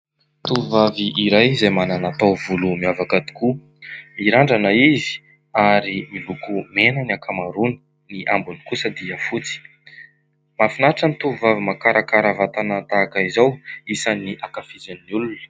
Tovovavy iray izay manana taovolo miavaka tokoa, mirandrana izy ary miloko mena ny ankamaroany, ny ambiny kosa fotsy. Mahafinaritra ny tovovavy mahakarakara vatana tahaka izao isan'ny ankafizin'ny olona.